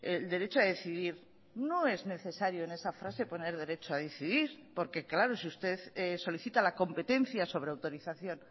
el derecho a decidir no es necesario en esa frase poner derecho a decidir porque claro si usted solicita la competencia sobre autorización